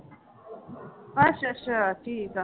ਅੱਛਾ ਅੱਛਾ ਠੀਕ ਆ।